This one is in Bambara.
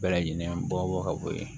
Bɛɛ lajɛlen bɔ ka bɔ yen